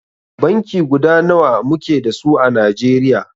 Banki guda nawa muke da su à Najeriya.